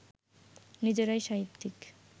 নিজেরাই সাহিত্যিক